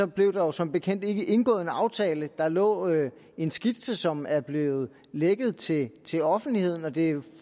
blev der jo som bekendt ikke indgået en aftale der lå en skitse som er blevet lækket til til offentligheden og det er